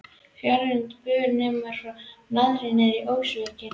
Fjörgynjar bur neppur frá naðri níðs ókvíðinn.